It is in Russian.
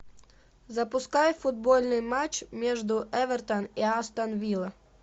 запускай футбольный матч между эвертон и астон вилла